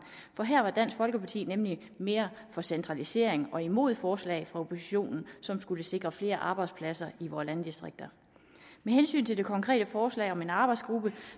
for her var dansk folkeparti nemlig mere for centralisering og imod forslag fra oppositionen som skulle sikre flere arbejdspladser i vore landdistrikter med hensyn til det konkrete forslag om en arbejdsgruppe